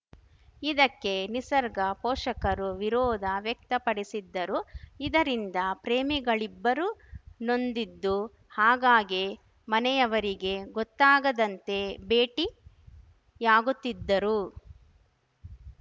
ಇದಕ್ಕೆ ನಿಸರ್ಗ ಪೋಷಕರು ವಿರೋಧ ವ್ಯಕ್ತಪಡಿಸಿದ್ದರು ಇದರಿಂದ ಪ್ರೇಮಿಗಳಿಬ್ಬರು ನೊಂದಿದ್ದು ಆಗ್ಗಾಗ್ಗೆ ಮನೆಯವರಿಗೆ ಗೊತ್ತಾಗದಂತೆ ಭೇಟಿಯಾಗುತ್ತಿದ್ದರು